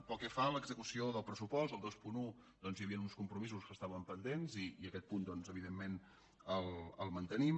pel que fa a l’execució del pressupost al vint un doncs hi havia uns compromisos que estaven pendents i aquest punt evidentment el mantenim